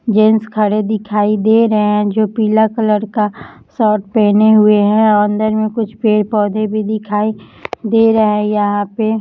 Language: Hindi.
जेंट्स खडे दिखाई दे रहे है जो पीला कलर का शर्ट हुए है और अंदर मे कुछ पेड़ पौधे भी दिखाई दे रहा है यहां पे --